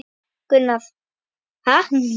Gunnar: Ha!